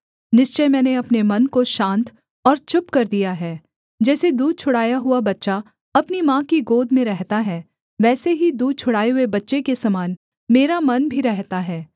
निश्चय मैंने अपने मन को शान्त और चुप कर दिया है जैसे दूध छुड़ाया हुआ बच्चा अपनी माँ की गोद में रहता है वैसे ही दूध छुड़ाए हुए बच्चे के समान मेरा मन भी रहता है